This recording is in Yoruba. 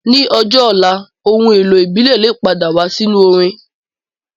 Ní ọjọ́ ọ̀la, ohun èlò ìbílẹ̀ lè padà wá sínú orin